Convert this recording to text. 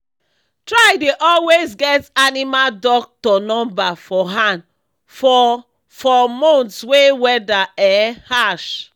try dey always get animal doctor number for hand for for months wey weather um harsh